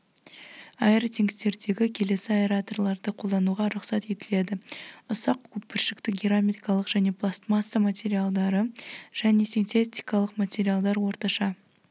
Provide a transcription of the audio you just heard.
аэротенктердегі келесі аэраторларды қолдануға рұқсат етіледі ұсақ көпіршікті керамикалық және пластмасса материалдары және синтетикалық материалдар орташа